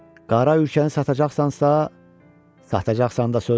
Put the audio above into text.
qara ülkəni satacaqsansa, satacaqsan da sözdür,